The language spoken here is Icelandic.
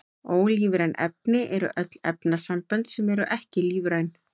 Ólífræn efni eru öll efnasambönd sem eru ekki lífræn.